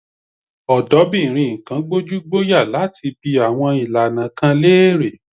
Ọ̀dọ́bìnrin kan gbójúgbóyà láti bi àwọn ìlànà kan léèrè.